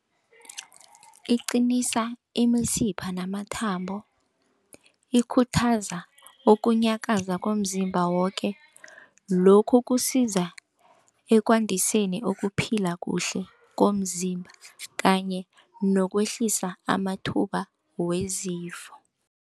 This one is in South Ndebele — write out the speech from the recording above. Iqinisa imisipha namathambo ikhuthaza okunyakaza komzimba woke lokhu kusiza ekwandiseni ukuphila kuhle komzimba kanye nokwehlisa amathuba wezifo.